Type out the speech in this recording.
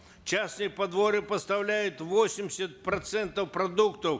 частные подворья поставляют восемьдесят процентов продуктов